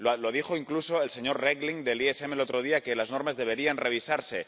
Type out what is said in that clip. lo dijo incluso el señor Regling, del MEDE, el otro día que las normas deberían revisarse.